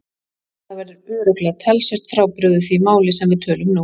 Það verður örugglega talsvert frábrugðið því máli sem við tölum nú.